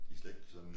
De slet ikke sådan